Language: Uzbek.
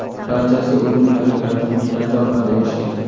Barchasiga o‘zining harakati, mehnati orqali erishgan.